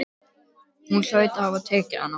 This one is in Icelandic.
Hún hlaut að hafa tekið hana.